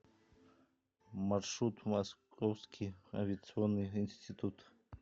маршрут московский авиационный институт